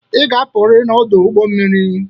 Ị ga-apụrịrị n'ọdụ ụgbọ mmiri a.